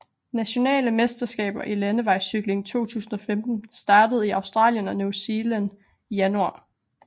Nationale mesterskaber i landevejscykling 2015 startede i Australien og New Zealand i januar